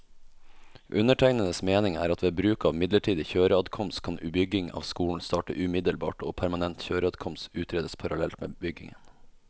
Undertegnedes mening er at ved bruk av midlertidig kjøreadkomst, kan bygging av skolen starte umiddelbart og permanent kjøreadkomst utredes parallelt med byggingen.